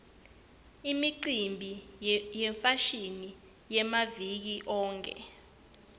imicimbi yefashini yamaviki onkhe